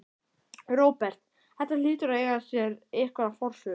Róbert: Þetta hlýtur að eiga sér einhverja forsögu?